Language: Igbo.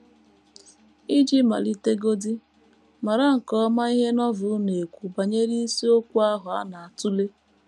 Iji malitegodị, mara nke ọma ihe Novel na - ekwu banyere isiokwu ahụ a na - atụle.